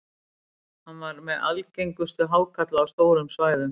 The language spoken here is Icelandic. hann var meðal algengustu hákarla á stórum svæðum